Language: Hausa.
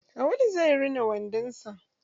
Awwalu zai rina wandon sa.